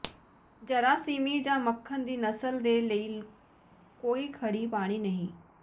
ਜਰਾਸੀਮੀ ਜਾਂ ਮੱਖਣ ਦੀ ਨਸਲ ਦੇ ਲਈ ਕੋਈ ਖੜ੍ਹੀ ਪਾਣੀ ਨਹੀਂ